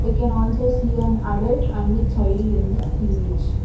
We can also see an adult and a child in the image.